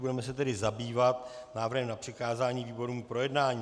Budeme se tedy zabývat návrhem na přikázání výborům k projednání.